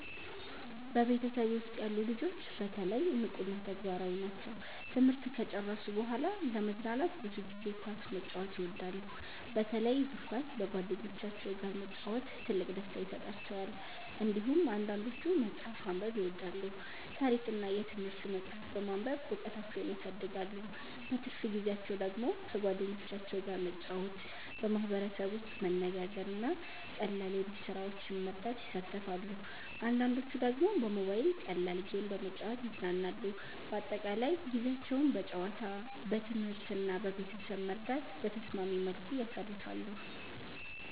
በቤተሰቤ ውስጥ ያሉ ልጆች በተለይ ንቁ እና ተግባራዊ ናቸው። ትምህርት ከጨረሱ በኋላ ለመዝናናት ብዙ ጊዜ ኳስ መጫወት ይወዳሉ፣ በተለይ እግር ኳስ በጓደኞቻቸው ጋር መጫወት ትልቅ ደስታ ይሰጣቸዋል። እንዲሁም አንዳንዶቹ መጽሐፍ ማንበብ ይወዳሉ፣ ታሪክ እና የትምህርት መጻሕፍት በማንበብ እውቀታቸውን ያሳድጋሉ። በትርፍ ጊዜያቸው ደግሞ ከጓደኞቻቸው ጋር መጫወት፣ በማህበረሰብ ውስጥ መነጋገር እና ቀላል የቤት ስራዎችን መርዳት ይሳተፋሉ። አንዳንዶቹ ደግሞ በሞባይል ቀላል ጌም በመጫወት ይዝናናሉ። በአጠቃላይ ጊዜያቸውን በጨዋታ፣ በትምህርት እና በቤተሰብ መርዳት በተስማሚ መልኩ ያሳልፋሉ።